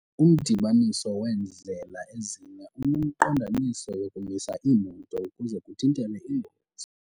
Umdibaniso weendlela ezine unemiqondiso yokumisa iimoto ukuze kuthintelwe iingozi.